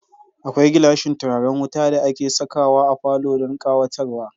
Akwai gilashin turaren wuta da ake sakawa a falo don ƙawatarwa.